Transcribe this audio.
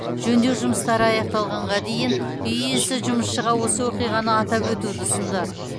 жөндеу жұмыстары аяқталғанға дейін үй иесі жұмысшыға осы оқиғаны атап өтуді ұсынды